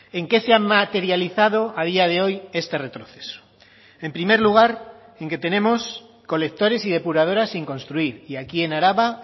en qué se han materializado a día de hoy este retroceso en primer lugar en que tenemos colectores y depuradoras sin construir y aquí en araba